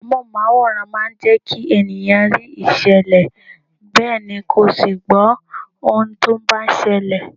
Amohunmaworan máa ń jẹkí ènìyàn rí ìṣẹ̀lẹ̀ bẹ́ẹ̀ ni kó sì gbó ohun tó bá ń ṣẹlẹ̀.